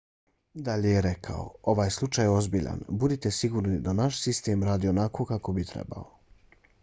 dalje je rekao: ovaj slučaj je ozbiljan. budite sigurni da naš sistem radi onako kako bi trebao.